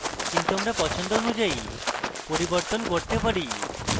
কিন্তু আমরা পছন্দ অনুযায়ী পরিবর্তন করতে পারি